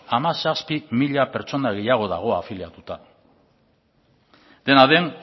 hamazazpi mila pertsona gehiago dago afiliatuta dena den